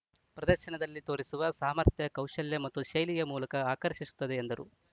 ಪ್ರದರ್ಶನದಲ್ಲಿ ತೋರಿಸುವ ಸಾಮರ್ಥ್ಯ ಕೌಶಲ್ಯ ಮತ್ತು ಶೈಲಿಯ ಮೂಲಕ ಆಕರ್ಷಿಸುತ್ತದೆ ಎಂದರು